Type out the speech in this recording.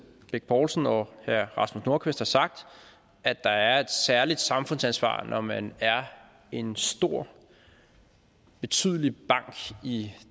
bech poulsen og herre rasmus nordqvist har sagt at der er et særligt samfundsansvar når man er en stor betydende bank i